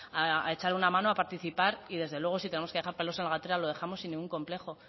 a echar una mano a participar y desde luego si tenemos que dejar pelos en la gatera lo dejamos sin ningún complejo